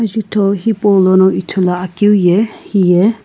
jutho hipaulono ithuluakeu ye hiye.